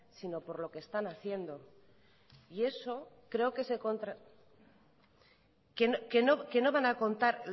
sino por lo que están haciendo y eso creo que no van a contar